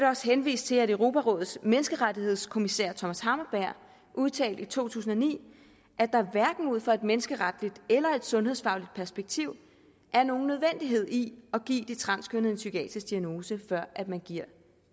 også henvise til at europarådets menneskerettighedskommissær thomas hammarberg udtalte i to tusind og ni at der hverken ud fra et menneskeretligt eller et sundhedsfagligt perspektiv er nogen nødvendighed i at give de transkønnede en psykiatrisk diagnose før man giver